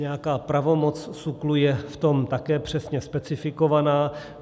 Nějaká pravomoc SÚKLu je v tom také přesně specifikovaná.